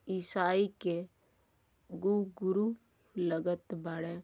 ईसाई के गु गुरु लगत बाड़े।